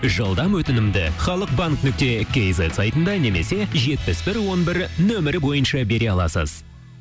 жылдам өтінімді халық банк нүкте кейзет сайтында немесе жетпіс бір он бір нөмірі бойынша бере аласыз